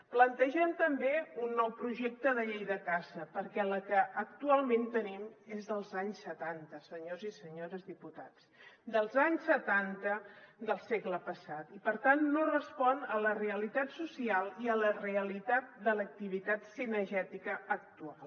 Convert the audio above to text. plantegem també un nou projecte de llei de caça perquè la que actualment tenim és dels anys setanta senyors i senyores diputats dels anys setanta del segle passat i per tant no respon a la realitat social i a la realitat de l’activitat cinegètica actual